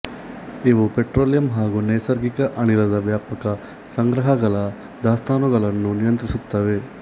ಇವು ಪೆಟ್ರೋಲಿಯಂ ಹಾಗು ನೈಸರ್ಗಿಕ ಅನಿಲದ ವ್ಯಾಪಕ ಸಂಗ್ರಹಗಳ ದಾಸ್ತಾನುಗಳನ್ನು ನಿಯಂತ್ರಿಸುತ್ತವೆ